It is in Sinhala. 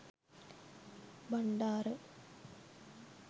Bandara